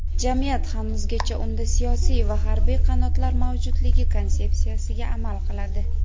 Jamiyat hanuzgacha unda siyosiy va harbiy qanotlar mavjudligi konsepsiyasiga amal qiladi.